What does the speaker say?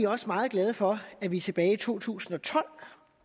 også meget glade for da vi tilbage i to tusind og tolv